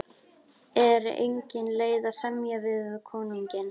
Er engin leið að semja við konunginn?